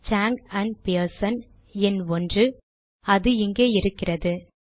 song and Pearson எண் 1 அது இங்கே இருக்கிறது